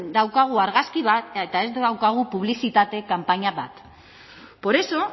daukagu argazki bat eta ez daukagu publizitate kanpaina bat por eso